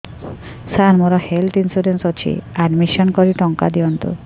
ସାର ମୋର health insurance ଅଛି admission କରି ଟଙ୍କା ଦିଅନ୍ତୁ